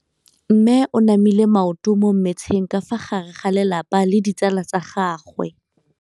Mme o namile maoto mo mmetseng ka fa gare ga lelapa le ditsala tsa gagwe.